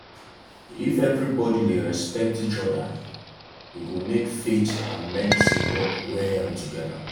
if everybody dey respect each other e go make faith and medicine work well together.